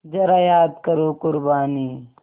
ज़रा याद करो क़ुरबानी